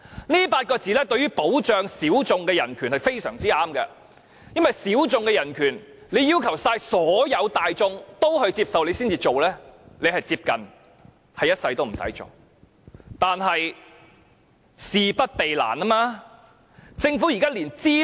這8個大字對於保障小眾人權便是相當合適的，因為如果要所有大眾也接受，才會實行保障小眾人權，便是接近一輩子也不用做的。